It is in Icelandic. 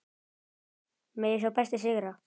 Megi sá besti sigra.